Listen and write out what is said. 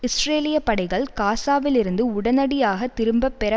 இஸ்ரேலிய படைகள் காசாவில் இருந்து உடனடியாக திரும்ப பெற